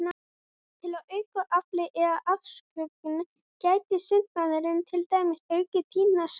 Til að auka aflið eða afköstin gæti sundmaðurinn til dæmis aukið tíðni sundtaka.